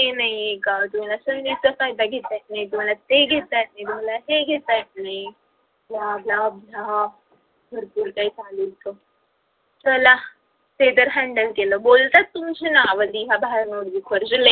हे नाही का तुम्हाला संधीचा फायदा घेता येत नाही तुम्हाला ते घेता येत नाही तुम्हाला हे घेता येत नाही bla bla bla भरपूर काही चला ते तर handle केलं बोलतात तुमची नाव लिहा notebook वर